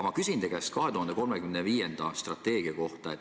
Ma küsin aga teie käest 2035. aasta strateegia kohta.